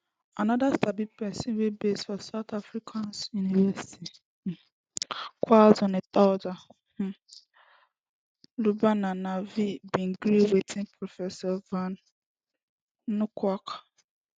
anoda sabi pesin wia base for south africas university um of kwazulunataldr um lubna nadvi bin gree wit prof van nieuwkerk